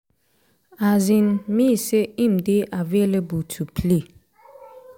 um me say im dey available to to play.”